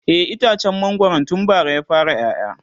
e itacen mangwaron tun bara ya fara ƴaƴa